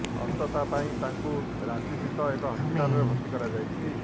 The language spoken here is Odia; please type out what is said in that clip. ଅସୁସ୍ଥତା ପାଇଁ ତାଙ୍କୁ ରାଞ୍ଚିସ୍ଥିତ ଏକ ହସ୍ପିଟାଲରେ ଭର୍ତ୍ତି କରାଯାଇଛି